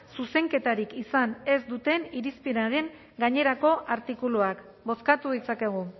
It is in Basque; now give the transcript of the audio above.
zuzenketarik izan ez duten irizpenaren gainerako artikuluak bozkatu ditzakegu